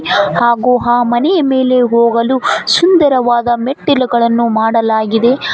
ಹಾಗು ಆ ಮನಿಯ ಮೇಲೆ ಹೋಗಲು ಸುಂದರವಾದ ಮೆಟ್ಟಿಲುಗಳನ್ನು ಮಾಡಲಾಗಿದೆ.